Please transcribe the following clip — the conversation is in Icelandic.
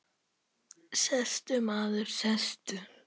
Sestu, maður, sestu.